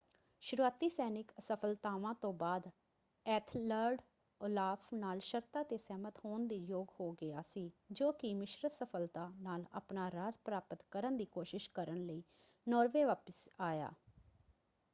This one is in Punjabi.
ਸ਼ੁਰੂਆਤੀ ਸੈਨਿਕ ਅਸਫ਼ਲਤਾਵਾਂ ਤੋਂ ਬਾਅਦ ਐਥਲਰਡ ਓਲਾਫ਼ ਨਾਲ ਸ਼ਰਤਾਂ 'ਤੇ ਸਹਿਮਤ ਹੋਣ ਦੇ ਯੋਗ ਹੋ ਗਿਆ ਸੀ ਜੋ ਕਿ ਮਿਸ਼ਰਤ ਸਫ਼ਲਤਾ ਨਾਲ ਆਪਣਾ ਰਾਜ ਪ੍ਰਾਪਤ ਕਰਨ ਦੀ ਕੋਸ਼ਿਸ਼ ਕਰਨ ਲਈ ਨਾਰਵੇ ਵਾਪਸ ਆਇਆ।